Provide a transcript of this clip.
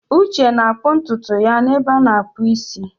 Uche na-akpụ ntutu ya n'ebe a na-akpụ isi.